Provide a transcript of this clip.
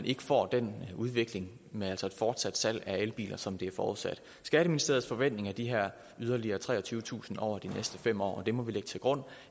ikke får den udvikling med et fortsat salg af elbiler som det er forudsat skatteministeriets forventninger er de her yderligere treogtyvetusind over de næste fem år og det må vi lægge til grund